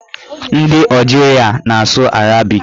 Ndị Ọjiria na-asụ arabik.